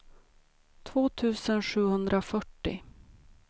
två tusen sjuhundrafyrtio